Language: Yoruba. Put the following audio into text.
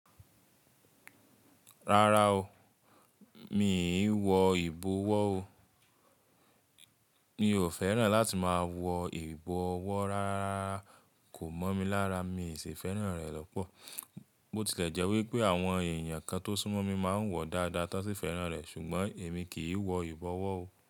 Rárá o, mi ì wọ ìbọ̀wọ́ o. Mi ò fẹ́ràn láti máa wọ ìbọ̀wọ́ rárá, kò mọ́ mi lára, mi sì fẹ́ràn rẹ̀ lọ́pọ̀. Bó ti lẹ̀ jẹ́ wípé àwọn èèyàn kan tó súnmọ́ mi máa ń wọ dáadáa tán sì fẹ́ràn rẹ̀, ṣùgbọ́n èmi kì í wọ ìbọ̀wọ́ o.